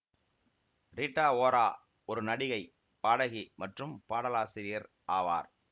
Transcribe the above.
Rita Ora ஒரு நடிகை பாடகி மற்றும் பாடலாசிரியர் ஆவார்